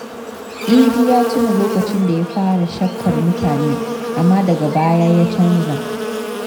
Idi ya tuna lokacin da ya fara shakkar mutane amma daga baya ya canza.